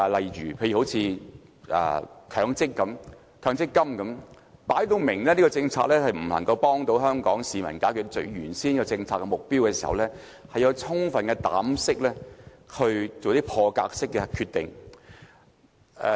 以強制性公積金計劃為例，很明顯這項政策不能幫助香港市民解決原先的政策目標，所以特首要有充分膽識做破格決定。